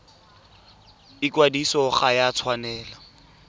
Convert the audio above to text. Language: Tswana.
ikwadiso ga e a tshwanela